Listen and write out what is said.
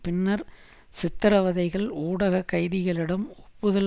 பின்னர் சித்திரவதைகள் ஊடக கைதிகளிடம் ஒப்புதல்